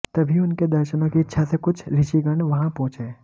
तभी उनके दर्शनों की इच्छा से कुछ ऋर्षिगण वहां पहुंचे